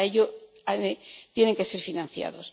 Y, para ello, tienen que ser financiados.